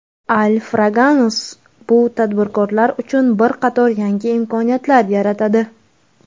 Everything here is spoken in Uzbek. Alfraganus bu tadbirkorlar uchun bir qator yangi imkoniyatlar yaratadi.